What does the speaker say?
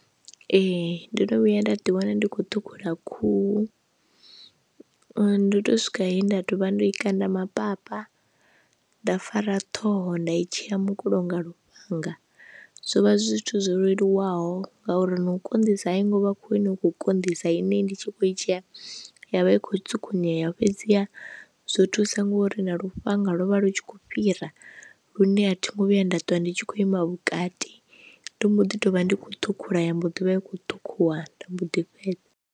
Ee ndo no vhuya nda ḓi wana ndi khou ṱhukhula khuhu, ndo to swika he nda ḓovha ndo i kanda mapapa nda fara ṱhoho nda i tsheya mukulo nga lufhanga, zwo vha zwi zwithu zwo leluwaho ngauri na u konḓisa a i ngo vha khou ine u khou konḓisa ine ndi tshi kho i tshi ya yavha ikho tsukunyeya fhedziha zwo thusa ngori na lufhanga lwo vha lu tshi khou fhira lune a thi ngo vhuya nda ṱuwa ndi tshi khou ima vhukati, ndo mbo ḓi to vha ndi khou ṱhukhula ya mbo ḓi vha i khou ṱhukhuwa nda mbo ḓi fhedza.